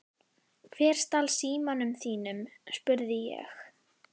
Hver stal símanum þínum? spurði ég.